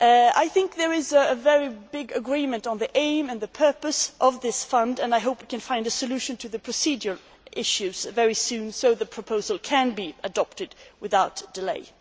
I think there is broad agreement on the aim and the purpose of this fund and I hope we can find a solution to the procedural issues very soon so the proposal can be adopted without delay.